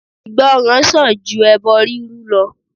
Ìgbọràn sàn ju ẹbọ rírú lọ.